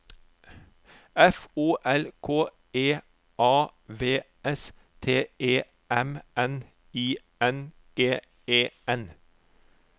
F O L K E A V S T E M N I N G E N